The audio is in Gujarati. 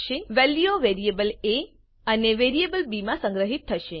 વેલ્યુઓ વેરિએબલ એ અને વેરિએબલ બી માં સંગ્રહીત થશે